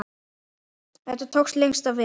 Þetta tókst lengst af vel.